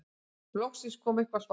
Loksins kom eitthvert svar.